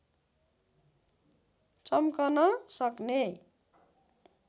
चम्कन सक्ने